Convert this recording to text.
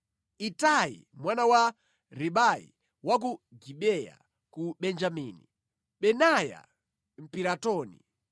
Itai mwana wa Ribai wa ku Gibeya ku Benjamini, Benaya Mpiratoni,